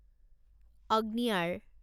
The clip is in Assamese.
অগ্নিয়াৰ